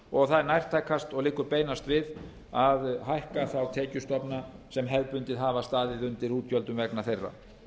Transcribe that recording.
og það er nærtækast og liggur beinast við að hækka þá tekjustofna sem hefðbundið hafa staðið undir útgjöldum vegna þeirra